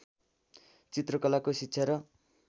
चित्रकलाको शिक्षा र